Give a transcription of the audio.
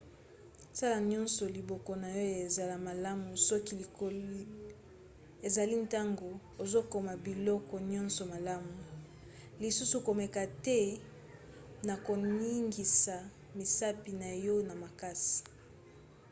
sala nyonso liboko na yo ezala malamu soki likoki ezali ntango ozokoma biloko nyonso malamu - lisusu komeka te na koningisa misapi na yo na makasi